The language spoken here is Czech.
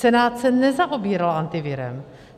Senát se nezaobíral Antivirem.